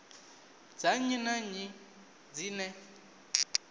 dza nnyi na nnyi dzine